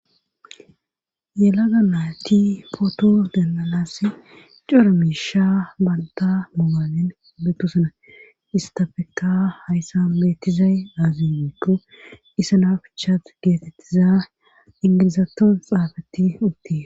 ela ga mayti pooto dennalasi cora miisha banta mogaazin bettusana istafeka hayssa meettizay aazimito isanaa fchat geetettiza ingilizaton xaafatti uttie